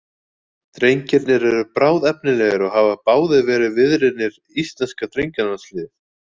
Drengirnir eru bráðefnilegir og hafa báðir verið viðriðnir íslenska drengjalandsliðið.